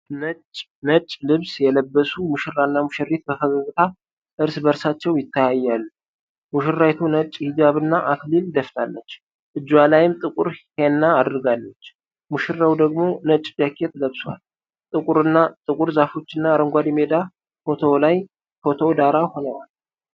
ነጭ ልብስ የለበሱ ሙሽራና ሙሽሪት በፈገግታ እርስ በእርሳቸው ይተያያሉ። ሙሽራይቱ ነጭ ሂጃብ እና አክሊል ደፍታለች፤ እጇ ላይም ጥቁር ሄና አድርጋለች። ሙሽራው ደግሞ ነጭ ጃኬት ለብሷል። ጥቁር ዛፎችና አረንጓዴ ሜዳ የፎቶው ዳራ ሆነዋል።